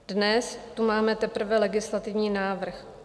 Dnes tu máme teprve legislativní návrh.